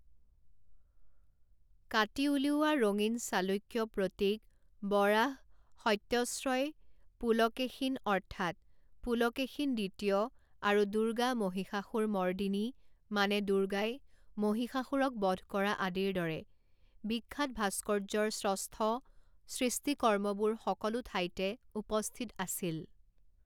কাটি উলিওৱা ৰঙীন চালুক্য প্ৰতীক বৰাহ সত্যশ্ৰয় পুলকেশীন অৰ্থাৎ পুলকেশীন দ্বিতীয় আৰু দুৰ্গা মহিষাসুৰমৰ্দিনী মানে দুৰ্গাই মহিষাসুৰক বধ কৰা আদিৰ দৰে বিখ্যাত ভাস্কৰ্য্যৰ শ্ৰষ্ঠ সৃষ্টিকৰ্মবোৰ সকলো ঠাইতে উপস্থিত আছিল।